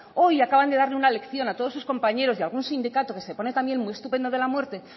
hoy acaban de darle una lección a todos sus compañeros de a algún sindicato que se pone también muy estupendo de la muerte